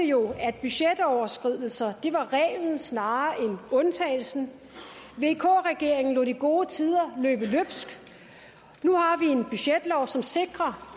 jo at budgetoverskridelser var reglen snarere end undtagelsen vk regeringen lod de gode tider løbe løbsk nu har vi en budgetlov som sikrer